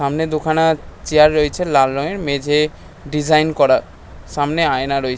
সামনে দুখানার চেয়ার রয়েছে লাল রঙের মেঝে ডিজাইন করা সামনে আয়না রয়ে--